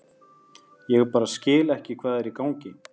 Ég bara skil ekki hvað er í gangi.